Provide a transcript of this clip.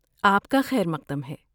آپکا خیر مقدم ہے!